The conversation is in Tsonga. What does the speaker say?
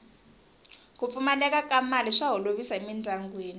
ku pfumaleka ka mali swa holovisa emindyangwini